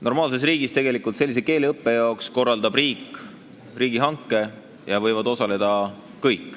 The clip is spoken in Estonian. Normaalne riik korraldab sellise keeleõppe jaoks riigihanke, kus võivad kõik osaleda.